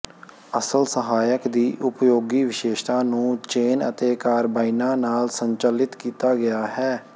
ਅਸਲ ਸਹਾਇਕ ਦੀ ਉਪਯੋਗੀ ਵਿਸ਼ੇਸ਼ਤਾ ਨੂੰ ਚੇਨ ਅਤੇ ਕਾਰਬਾਈਨਾਂ ਨਾਲ ਸੰਚਾਲਿਤ ਕੀਤਾ ਗਿਆ ਹੈ